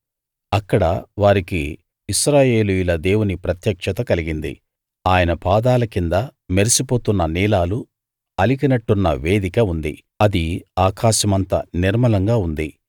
అక్కడ వారికి ఇశ్రాయేలీయుల దేవుని ప్రత్యక్షత కలిగింది ఆయన పాదాల కింద మెరిసిపోతున్న నీలాలు అలికినట్టున్న వేదిక ఉంది అది ఆకాశమంత నిర్మలంగా ఉంది